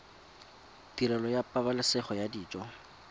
tirelo ya pabalesego ya dijo